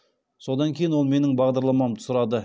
содан кейін ол менің бағаларымды сұрады